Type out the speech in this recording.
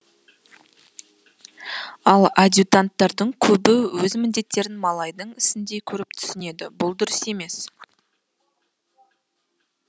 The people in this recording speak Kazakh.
ал адьютанттардың көбі өз міндеттерін малайдың ісіндей көріп түсінеді бұл дұрыс емес